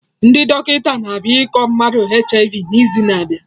Ndị dọkịta na-abịa ịkọ maka HIV n'izu na abịa